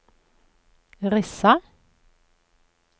Rissa